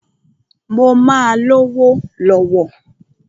Mó máà lówó lọ̀wọ̀.